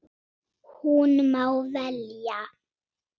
Hún má velja.